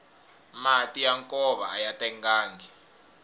mati ya nkova aya tengangi